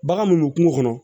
Bagan mun bɛ kungo kɔnɔ